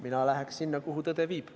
Mina läheks sinna, kuhu tõde viib.